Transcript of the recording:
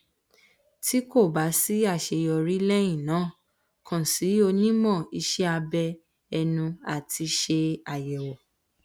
ti ko ba si aseyori lehina kan si onimo ise abe enu ati se ayewo